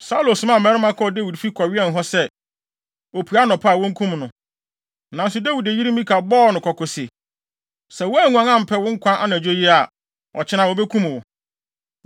Saulo somaa mmarima kɔɔ Dawid fi kɔwɛn hɔ sɛ, opue anɔpa a wonkum no. Nanso Dawid yere Mikal bɔɔ no kɔkɔ se, “Sɛ woanguan ampɛ wo nkwa anadwo yi a, ɔkyena, wobekum wo.”